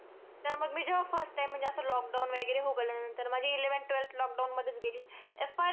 तर मग मी अह जेव्हा first time म्हणजे असं lockdown वगैरे उघडल्यानंतर. माझी eleventh, twelfth lockdown मध्येच गेली. FY ला जेव्हा,